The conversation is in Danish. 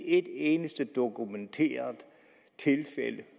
et eneste dokumenteret tilfælde